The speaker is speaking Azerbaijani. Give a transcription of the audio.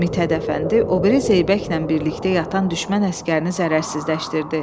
Mit Hədəfəndi o biri Zeybəklə birlikdə yatan düşmən əsgərini zərərsizləşdirdi.